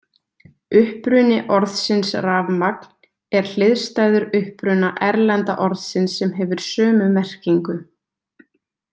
Uppruni orðsins rafmagn er hliðstæður uppruna erlenda orðsins sem hefur sömu merkingu.